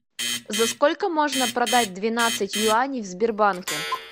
за сколько можно продать двенадцать юаней в сбербанке